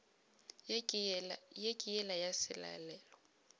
ye ke yela ya selalelo